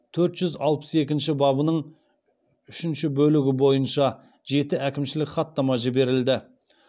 төрт жүз алпыс екінші бабының үшінші бөлігі бойынша жеті әкімшілік хаттама жіберілді